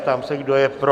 Ptám se, kdo je pro?